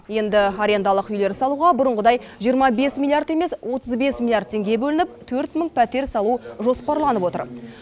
енді арендалық үйлер салуға бұрынғыдай жиырма бес миллиард емес отыз бес миллиард теңге бөлініп төрт мың пәтер салу жоспарланып отыр